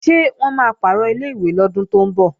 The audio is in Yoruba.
Ṣé wọ́n máa pàrọ̀ ilé-ìwé lọ́dún tó ń bọ̀?